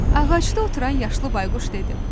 Ağacda oturan yaşlı bayquş dedi.